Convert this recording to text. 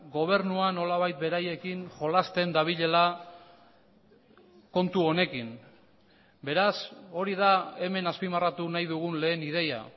gobernua nolabait beraiekin jolasten dabilela kontu honekin beraz hori da hemen azpimarratu nahi dugun lehen ideia